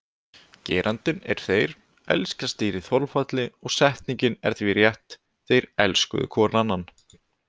Gerandinn er þeir, elska stýrir þolfalli og setningin er því rétt þeir elskuðu hvor annan.